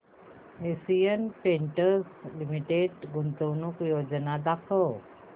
Asian Paints Limited गुंतवणूक योजना दाखव